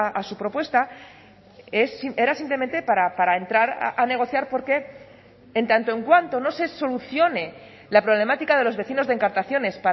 a su propuesta era simplemente para entrar a negociar porque en tanto en cuanto no se solucione la problemática de los vecinos de encartaciones